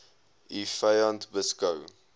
u vyand beskou